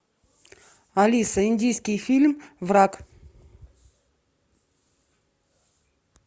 алиса индийский фильм враг